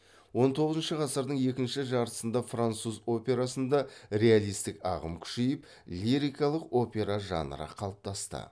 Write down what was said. он тоғызыншы ғасырдың екінші жартысында француз операсында реалистік ағым күшейіп лирикалық опера жанры қалыптасты